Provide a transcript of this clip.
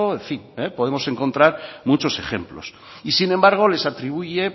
en fin podemos encontrar muchos ejemplos y sin embargo les atribuye